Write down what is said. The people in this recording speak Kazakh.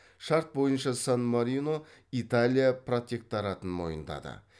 шарт бойынша сан марино италия протекторатын мойындады